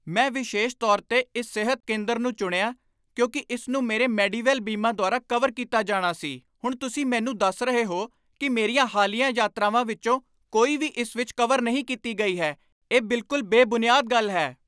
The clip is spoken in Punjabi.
ਮੈਂ ਵਿਸ਼ੇਸ਼ ਤੌਰ 'ਤੇ ਇਸ ਸਿਹਤ ਕੇਂਦਰ ਨੂੰ ਚੁਣਿਆ ਕਿਉਂਕਿ ਇਸ ਨੂੰ ਮੇਰੇ ਮੈਡੀਵੈਲ ਬੀਮਾ ਦੁਆਰਾ ਕਵਰ ਕੀਤਾ ਜਾਣਾ ਸੀ। ਹੁਣ ਤੁਸੀਂ ਮੈਨੂੰ ਦੱਸ ਰਹੇ ਹੋ ਕਿ ਮੇਰੀਆਂ ਹਾਲੀਆ ਯਾਤਰਾਵਾਂ ਵਿੱਚੋਂ ਕੋਈ ਵੀ ਇਸ ਵਿੱਚ ਕਵਰ ਨਹੀਂ ਕੀਤੀ ਗਈ ਹੈ? ਇਹ ਬਿਲਕੁਲ ਬੇਬੁਨਿਆਦ ਗੱਲ ਹੈ !